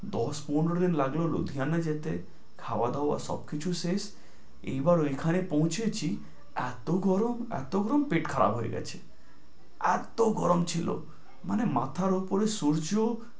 দশ পনের দিন লাগল লুধিয়ানায় যেতে, খাওয়া দাওয়া সব কিছু শেষ। এইবার ওই খানে পৌছেছি এত গরম এত গরম পেট খারাপ হয়ে গেছে। এত গরম ছিল মানে মাথার উপরে সূর্য।